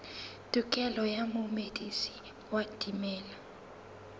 tokelo ya momedisi wa dimela